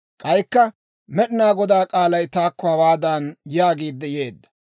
K'aykka Med'inaa Godaa k'aalay taakko hawaadan yaagiidde yeedda;